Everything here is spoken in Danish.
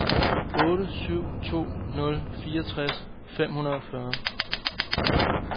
otte syv to nul fireogtres fem hundrede og fyrre